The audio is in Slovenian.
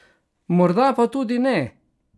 Morda pa tudi ne?